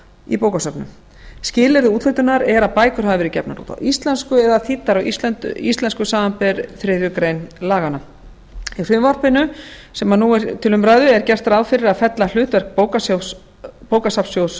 í bókasöfnum skilyrði úthlutunar eru að bækur hafi verið gefnar út á íslensku eða þýddar á íslensku samanber þriðju grein laganna í frumvarpinu sem nú er til umræðu er gert ráð fyrir að fella hlutverk bókasafnssjóðs höfunda undir lög